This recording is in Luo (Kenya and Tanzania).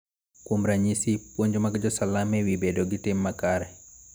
Kuom ranyisi, puonj mag Jo-Salam e wi bedo gi tim makare .